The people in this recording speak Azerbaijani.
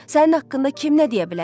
Sənin haqqında kim nə deyə bilər?